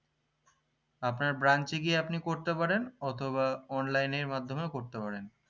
আপনার branch এ গিয়ে আপনি করতে পারেন অথবা online এর মাধ্যমেও করতে পারেন